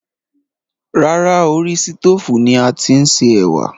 Rárá, orí sítoòfù ni a ti ń se ẹ̀wà